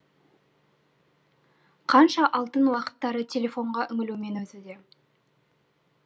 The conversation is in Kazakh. қанша алтын уақыттары телефонға үңілумен өтуде